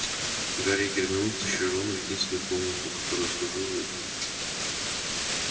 гарри и гермиона втащили рона в единственную комнату которая служила